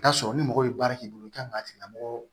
I bi t'a sɔrɔ ni mɔgɔ ye baara k'i bolo i kan k'a tigi lamɔgɔ